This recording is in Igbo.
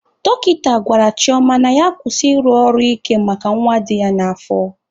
Dọkịta gwara Chioma na ya kwụsị ịrụ ọrụ ike maka nwa dị ya n'afọ.